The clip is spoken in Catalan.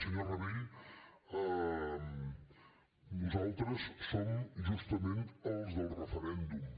senyor rabell nosaltres som justament els del referèndum